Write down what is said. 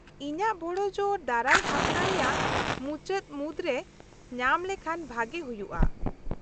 -ᱤᱧᱟᱹᱜ ᱵᱚᱲᱚ ᱡᱳᱨ ᱫᱟᱨᱟᱭ ᱦᱟᱯᱛᱟ ᱨᱮᱭᱟᱜ ᱢᱩᱪᱟᱹᱫ ᱢᱩᱫᱨᱮ ᱧᱟᱢ ᱞᱮᱠᱷᱟᱱ ᱵᱷᱟᱜᱮ ᱦᱩᱭᱩᱜᱼᱟ ᱾